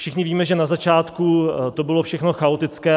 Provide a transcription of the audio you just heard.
Všichni víme, že na začátku to bylo všechno chaotické.